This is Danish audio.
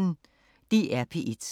DR P1